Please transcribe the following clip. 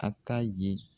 A ta ye